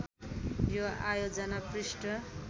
यो आयोजना पृष्ठ